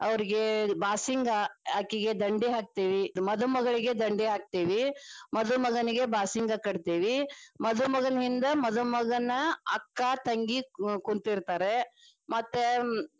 ಅವ್ರಗೆ ಬಾಸಿಂಗ ಅಕಿಗೆ ದಂಡಿ ಹಾಕ್ತೆವಿ ಮಧುಮಗಳಿಗೆ ದಂಡಿ ಹಾಕ್ತೆವಿ, ಮಧುಮಗನಿಗೆ ಬಾಸಿಂಗ ಕಟ್ಟತೇವಿ. ಮಧುಮಗನ ಹಿಂದ ಮಧುಮಗನ ಅಕ್ಕಾ ತಂಗಿ ಕುಂತಿರ್ತಾರೆ ಮತ್ತೆ.